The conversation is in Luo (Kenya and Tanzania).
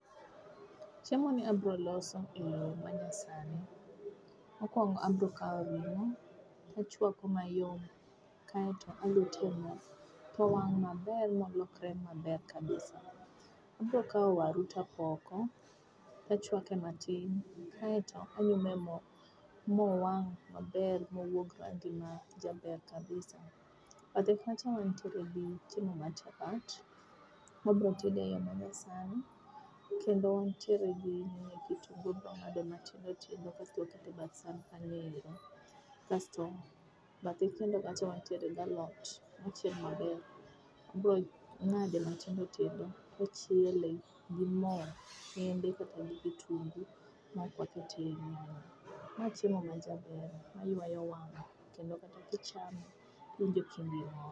Chiemo ni abro loso e yoo manyasani. Mokuongo abro kao ringo achwako mayom kaito aluto ei moo towang' maber molokre maber kaisa. Abro kao waru tapoko tachuake matin kaito aume moo mowang maber mowuog rangi majaber kabisa. Bathe kacha wantiere gi chiemo mar chapat, wabro tede e yoo manyasani kendo wantiere gi kitungu gi nyanya wabro ngado matindo tindo kaito waketo e bath san kanyoero. Asto bathe kacha wantie gi alot mochiel maber. Wabro ng'ade matindo tindo to wachiele gi moo kende kata gi kitungi maok wakete nyanya. Ma chiemo ma jaber ma ywayo wang' kendo kichame iwinjo ka chunyi mor